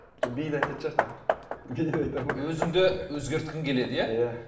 биді айтатын шығар тағы биді айтады ма өзіңді өзгерткің келеді иә иә